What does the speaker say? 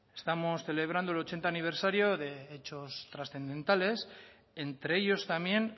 estamos celebrando el ochenta aniversario de hechos trascendentales entre ellos también